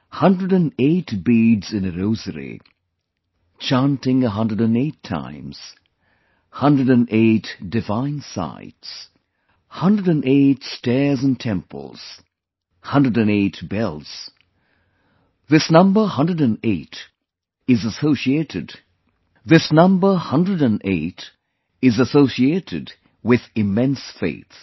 108 beads in a rosary, chanting 108 times, 108 divine sites, 108 stairs in temples, 108 bells, this number 108 is associated with immense faith